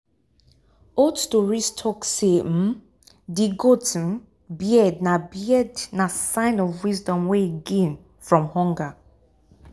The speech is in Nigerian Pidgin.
old stories talk say um de goat um beard na beard na sign of wisdom wey e gain from hunger